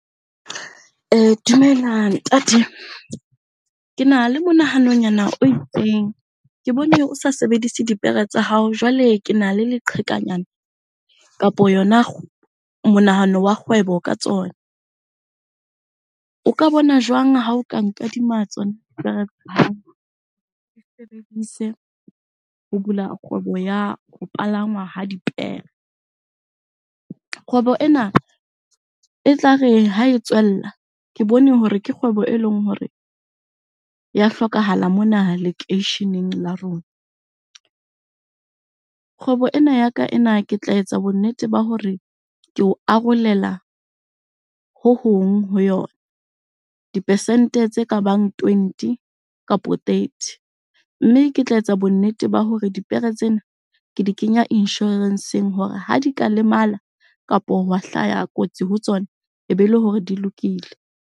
Dumela ntate, kena le monahanonyana o itseng. Ke bone o sa sebedise dipere tsa hao, jwale kena le leqhekanyana kapa yona monahano wa kgwebo ka tsona. O ka bona jwang ha o ka nkadima tsona dipere tsa hao? ke di sebedise ho bula kgwebo ya ho palangwa ha dipere. Kgwebo ena e tlare ha e tswella, ke bone hore ke kgwebo e leng hore ya hlokahala mona lekeisheneng la rona. Kgwebo ena ya ka ena ke tla etsa bonnete ba hore ke o arolela hohong ho yona. Di-percent-e tse ka bang twenty kapo thirty, mme ke tla etsa bonnete ba hore dipere tsena ke di kenya insurance-eng hore ha di ka lemala kapo hwa hlaya kotsi ho tsona, e be le hore di lokile.